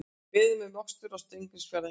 Beðið með mokstur á Steingrímsfjarðarheiði